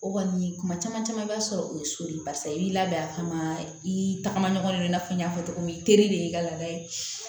O kɔni kuma caman caman b'a sɔrɔ o ye so de ye barisa i b'i labɛn a kama i tagama ɲɔgɔn i n'a fɔ n y'a fɔ cogo min teri de y'i ka laada ye